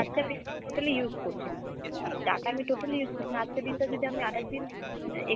আজকে আমি totally use করছি না, data আমি totally use করছি না, আজকের দিন টা যদি আমি আর একদিন অ্যাঁ extra,